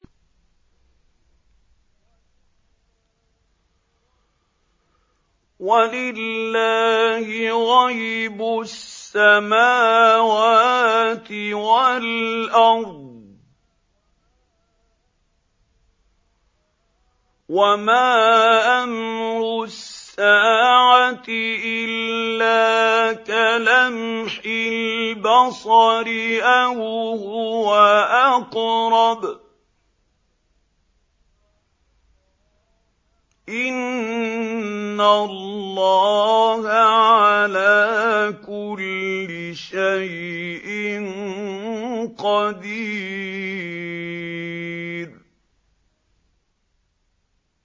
وَلِلَّهِ غَيْبُ السَّمَاوَاتِ وَالْأَرْضِ ۚ وَمَا أَمْرُ السَّاعَةِ إِلَّا كَلَمْحِ الْبَصَرِ أَوْ هُوَ أَقْرَبُ ۚ إِنَّ اللَّهَ عَلَىٰ كُلِّ شَيْءٍ قَدِيرٌ